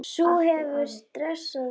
Sú hefur dressað sig upp!